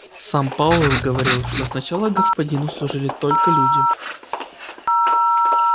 сам пауэлл говорил что сначала господину служили только люди